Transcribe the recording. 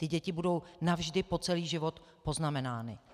Ty děti budou navždy po celý život poznamenány.